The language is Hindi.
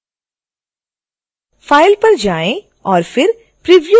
file पर जाएं और फिर preview पर क्लिक करें